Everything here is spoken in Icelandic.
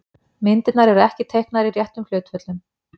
Myndirnar eru ekki teiknaðar í réttum hlutföllum.